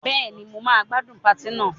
Bẹ́ẹ̀ni, mo gbádùn patí náà.